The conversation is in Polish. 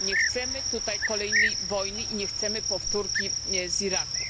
Nie chcemy tutaj kolejnej wojny i nie chcemy powtórki z Iraku.